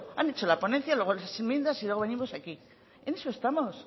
han hecho la ponencia luego las enmiendas y luego venimos a aquí en eso estamos